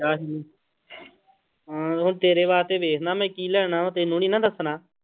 ਹਾਂ ਉਹ ਤੇਰੇ ਵਾਸਤੇ ਵੇਖਦਾਂ ਮੈਂ ਕੀ ਲੈਣਾ, ਤੈਨੂੰ ਨੀ ਨਾ ਦੱਸਣਾ।